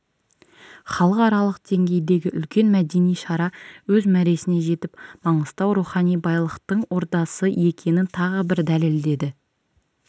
халықаралық деңгейдегі үлкен мәдени шара өз мәресіне жетіп маңғыстау рухани байлықтың ордасы екенін тағы бір дәлелдеді